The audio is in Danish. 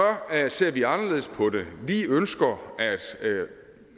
ser vi anderledes på det vi ønsker at